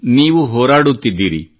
ನೀವು ಹೋರಾಡುತ್ತಿದ್ದೀರಿ